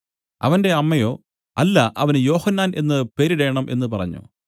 അവന്റെ അമ്മയോ അല്ല അവന് യോഹന്നാൻ എന്നു പേരിടേണം എന്നു പറഞ്ഞു